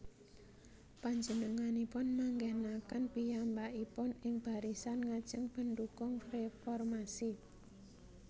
Panjenenganipun manggènaken piyambakipun ing barisan ngajeng pendhukung réformasi